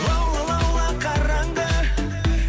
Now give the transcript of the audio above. лаула лаула қараңғы